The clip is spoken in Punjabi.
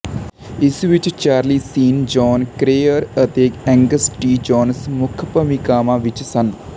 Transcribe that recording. ਇਸ ਵਿੱਚ ਚਾਰਲੀ ਸ਼ੀਨ ਜੌਨ ਕਰੇਅਰ ਅਤੇ ਐਂਗਸ ਟੀ ਜੋਨਸ ਮੁੱਖ ਭੂਮਿਕਾਵਾਂ ਵਿੱਚ ਸਨ